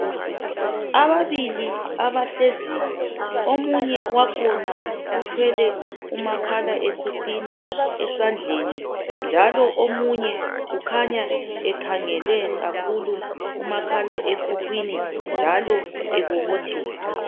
Ababili abahleziyo omunye wakhona uthwele umakhala ekhukhwini esandleni njalo omunye ukhanya ekhangele kakhulu kumakhala ekhukhwini njalo ebobotheka.